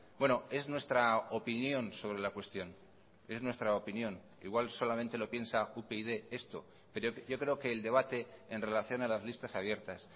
bueno es nuestra opinión sobre la cuestión es nuestra opinión igual solamente lo piensa upyd esto pero yo creo que el debate en relación a las listas abiertas